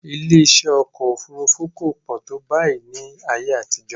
Ilé-iṣẹ́ ọkọ̀ òfurufú kò pọ̀ tó báyìí ní ayé àtijọ́